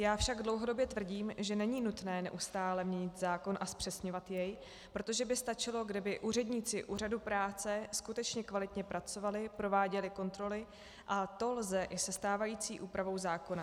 Já však dlouhodobě tvrdím, že není nutné neustále měnit zákon a zpřesňovat jej, protože by stačilo, kdyby úředníci úřadů práce skutečně kvalitně pracovali, prováděli kontroly, a to lze i se stávající úpravou zákona.